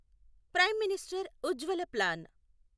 prime minister Ujjwala plan